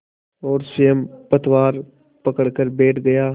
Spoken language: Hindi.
और स्वयं पतवार पकड़कर बैठ गया